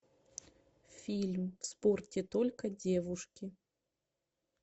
фильм в спорте только девушки